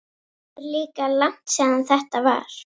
Það er líka langt síðan þetta var.